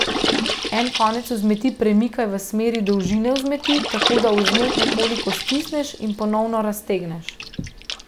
En konec vzmeti premikaj v smeri dolžine vzmeti, tako da vzmet nekoliko stisneš in ponovno raztegneš.